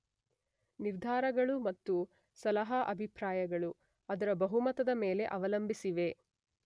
ನಿರ್ಧಾರಗಳು ಮತ್ತು ಸಲಹಾ ಅಭಿಪ್ರಾಯಗಳು ಅದರ ಬಹುಮತದ ಮೇಲೆ ಅವಲಂಬಿಸಿವೆ.